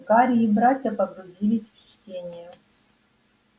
гарри и братья погрузились в чтение